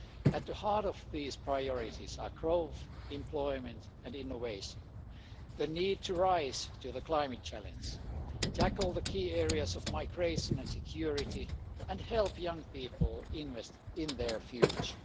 At the heart of these priorities are growth, employment and innovation, the need to rise to the climate challenge, to tackle the key areas of migration and security, and to help young people invest in their future.